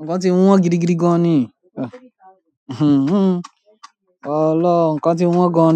ọ̀pọ̀ nǹkan ti wọ́n gidigidi gan-an ni. Ọlọ́run, ǹkan ti wọ́n gan.